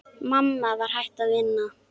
Mamma var hætt að vinna.